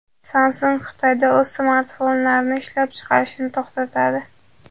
Samsung Xitoyda o‘z smartfonlarini ishlab chiqarishni to‘xtatadi.